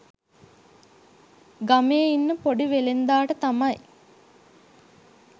ගමේ ඉන්න ‍පොඩි වෙළෙන්දාට තමයි